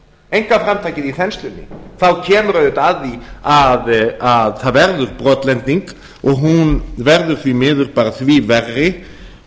einkaframtakið í þenslunni þá kemur auðvitað að því að það verður brotlending og hún verður því miður því verri